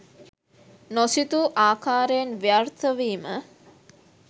නොසිතූ ආකාරයෙන් ව්‍යාර්ථ වීම